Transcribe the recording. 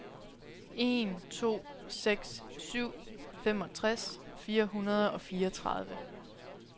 en to seks syv femogtres fire hundrede og fireogtredive